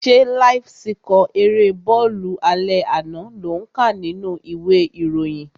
Ṣé láíf síkọ̀ erée bọ́ọ̀lù alẹ́ àná lò ń kà nínú ìwé ìròyìn?